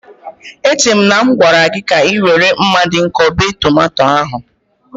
Echere m na a gwara gị ka ị were mma dị nkọ bee tomato ahu.